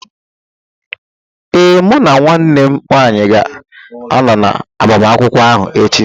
Ee, mụ na nwanne m nwanyị ga-ánọ na agbamakwụkwọ áhù echi